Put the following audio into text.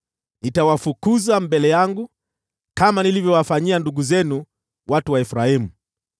Nitawafukuza mbele yangu, kama nilivyowafanyia ndugu zenu, watu wa Efraimu.’